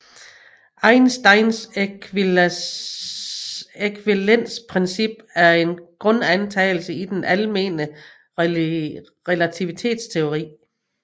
Einsteins ækvivalensprincip er en grundantagelse i den almene relativitetsteori